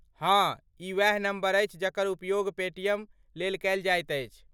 हँ, ई वैह नम्बर अछि जकर उपयोग पेटीएम लेल कयल जाइत अछि।